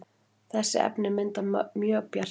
þessi efni mynda mjög bjarta